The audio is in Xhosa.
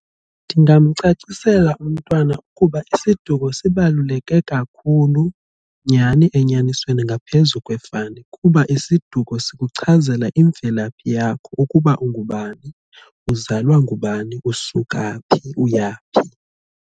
Ndingamcacisela umntwana ukuba isiduko sibaluleke kakhulu nyhani enyanisweni ngaphezu kwefani, kuba isiduko sikuchazela imvelaphi yakho ukuba ungubani, uzalwa ngubani, usuka phi, uyaphi.